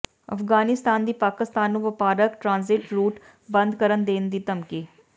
ਅਫਗਾਨਿਸਤਾਨ ਦੀ ਪਾਕਿਸਤਾਨ ਨੂੰ ਵਪਾਰਕ ਟਰਾਂਜ਼ਿਟ ਰੂਟ ਬੰਦ ਕਰ ਦੇਣ ਦੀ ਧਮਕੀ